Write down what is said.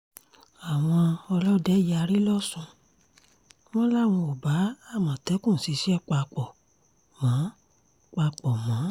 àwọn ọlọ́dẹ yarí lọ́sùn wọn làwọn ò bá àmọ̀tẹ́kùn ṣiṣẹ́ papọ̀ mọ́ papọ̀ mọ́